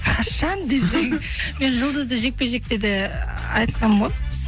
қашан десең мен жұлдызды жекпе жекте де ы айтқанмын ғой